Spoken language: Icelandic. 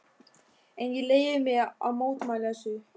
En ég leyfi mér að mótmæla þessu.